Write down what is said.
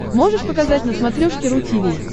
можешь показать на смотрешке ру ти ви